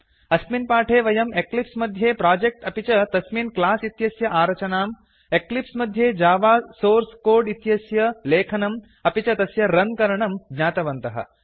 अस्मिन् पाठे वयं एक्लिप्स् मध्ये प्रोजेक्ट् अपि च तस्मिन् क्लास् इत्यस्य आरचनां एक्लिप्स् मध्ये जावा सोर्स् कोड् इत्यस्य लेखनं अपि च तस्य रन् करणं ज्ञातवन्तः